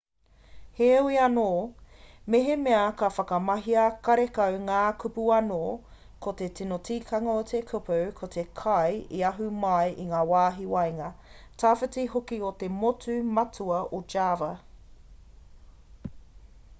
heoi anō mehemea ka whakamahia karekau ngā kupu anō ko te tino tikanga o te kupu ko te kai i ahu mai i ngā wāhi waenga tawhiti hoki o te motu matua o java